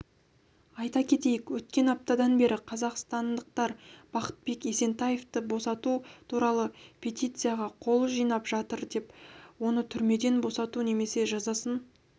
айта кетейік өткен аптадан бері қазақстандықтарбақытбек есентаевты босату туралыпетицияға қол жинапжатыр оны түрмеден босату немесе жазасын